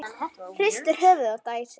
Hristir höfuðið og dæsir.